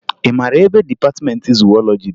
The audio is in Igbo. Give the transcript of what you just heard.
Ị mara ebe dịpatịmentị zuwọlọji dị?